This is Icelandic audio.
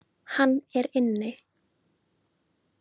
Hann er inni.